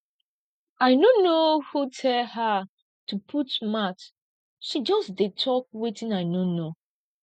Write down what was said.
i no know who tell her to put mouth she just dey talk wetin i no know